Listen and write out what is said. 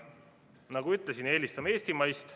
Nagu ma ütlesin, me eelistame eestimaist.